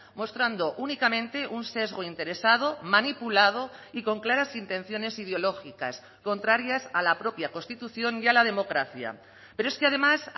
mostrando únicamente un sesgo interesado manipulado y con claras intenciones ideológicas contrarias a la propia constitución y a la democracia pero es que además